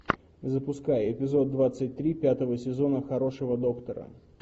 запускай эпизод двадцать три пятого сезона хорошего доктора